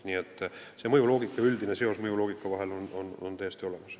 Nii et üldine seos on mõjuloogikas täiesti olemas.